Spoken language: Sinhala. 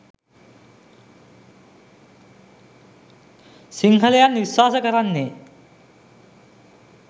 සිංහලයන් විශ්වාස කරන්නේ